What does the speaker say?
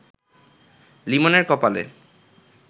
লিমনের কপালে